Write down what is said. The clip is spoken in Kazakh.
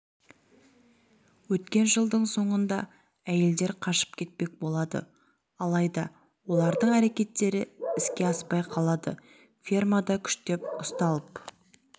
өткен жылдың соңында әйелдер қашып кетпек болады алайда олардың әрекетері іске аспай қалады фермада күштеп ұсталып